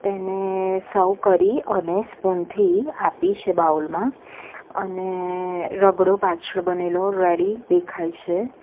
તેને સર્વ કરી અને સ્પૂન થી આપી છે બાઉલ માં અને રગડો પાછળ બનેલો રેડી દેખાય છે.